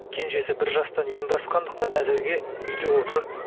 кенжесі бір жастан енді асқандықтан әзірге үйде отыр